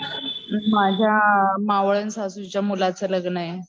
माझ्या मावळण सासू च्या मुलाचं लग्न